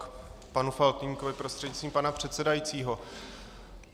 K panu Faltýnkovi prostřednictvím pana předsedajícího.